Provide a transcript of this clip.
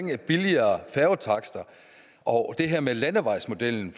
med billigere færgetakster og det her med landevejsmodellen